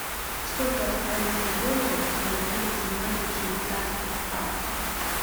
сколько австралийских долларов я получу за семнадцать швейцарских франков